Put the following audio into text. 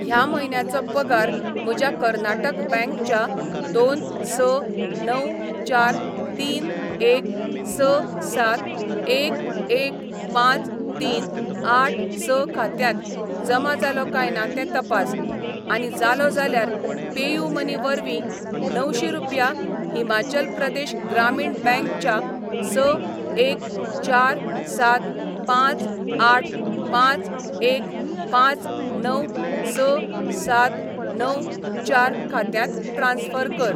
ह्या म्हयन्याचो पगार म्हज्या कर्नाटक बँक च्या दोन स णव चार तीन एक स सात एक एक पांच तीन आठ स खात्यांत जमा जालो काय ना तें तपास, आनी जालो जाल्यार पेयूमनी वरवीं णवशी रुपया हिमाचल प्रदेश ग्रामीण बँक च्या स एक चार सात पांच आठ पांच एक पांच णव स सात णव चार खात्यांत ट्रान्स्फर कर.